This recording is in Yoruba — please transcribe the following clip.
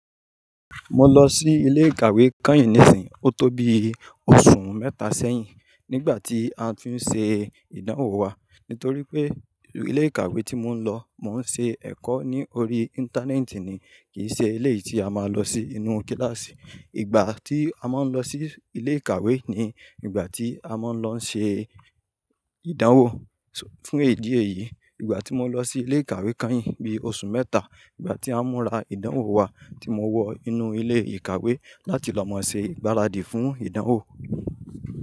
Mo lọ sí ilé ìkàwé kányìn nísinyìín ó tó bí oṣù mẹ́ta sẹ́yìn, nígbà tí a tí ń ṣe ìdánwò wa. Nítorí pé ilé ìkàwé tí mò ń lọ, mò ń ṣe ẹ̀kọ́ ní orí Íńtánẹ́ẹ̀tì ni, kì í ṣe ilé tí a máa lọ sí inú kíláàsì. Ìgbà tí a máa ń lọ sí ilé ìkàwé ni ìgbà tí a máa ń lọ ṣe ìdánwò. Fún èdí èyí, ìgbà tí mo lọ sí ilé ìkàwé kányìn bí i oṣù mẹ́ta, ìgbà tí a múra ìdánwò wa tí mo wọ inú ilé ìkàwé láti lọ máa ṣe ìgbáradì fún ìdánwò.